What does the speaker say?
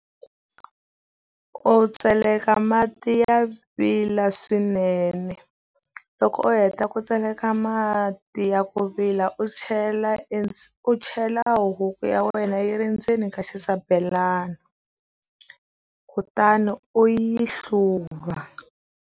U tseleka mati ya vila swinene. Loko u heta ku tseleka mati ya ku vila u chela u chela huku ya wena yi ri ndzeni ka xisabelana, kutani u yi hluva.